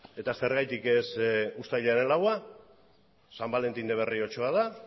eta zergatik ez uztailaren laua san valentin de berriochoa da